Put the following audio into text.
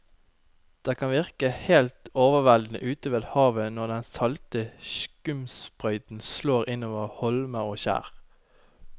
Det kan virke helt overveldende ute ved havet når den salte skumsprøyten slår innover holmer og skjær.